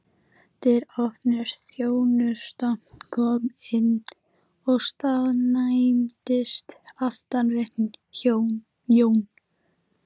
Dyr opnuðust, þjónusta kom inn og staðnæmdist aftan við Jón.